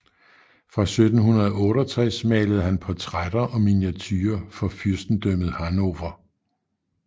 Fra 1768 malede han portrætter og miniaturer for fyrstendømmet Hannover